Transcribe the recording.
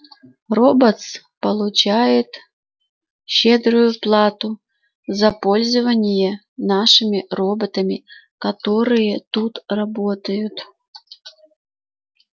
роботс получает щедрую плату за пользование нашими роботами которые тут работают